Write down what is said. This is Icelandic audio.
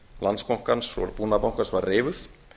landsbankans og búnaðarbankans var reifuð